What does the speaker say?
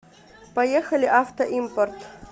поехали авто импорт